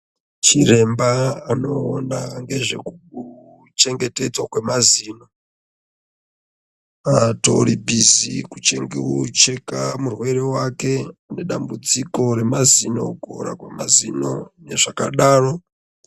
Chiremba anoona ngezveku chengetedzwa kwemazino atori bhizi kucheka murwere wake une dambudziko remazino, kuora kwemazino nezvakadaro.